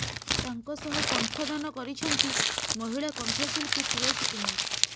ତାଙ୍କ ସହ କଙଋଦାନ କରିଛନ୍ତି ମହିଳା କଙଋଶିଳ୍ପୀ ତୁଳସୀ କୁମାର